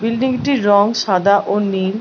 Building টির রং সাদা ও নীল ।